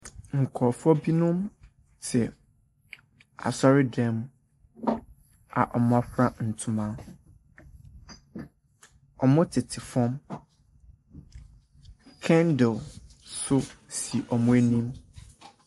Nkurofoɔ binom te asɔredan mu a ɔmo afira ntoma. Ɔmo tete fam. Kɛndil so si ɔmo anim.